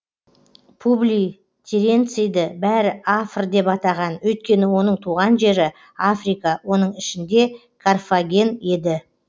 публий теренцийді бәрі афр деп атаған өйткені оның туған жері африка оның ішінде карфаген еді